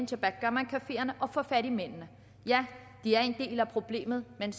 til backgammoncafeerne og få fat i mændene ja de er en del af problemet men